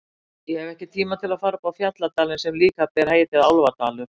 Ég hef ekki tíma til að fara upp í fjalladalinn sem líka ber heitið Álfadalur.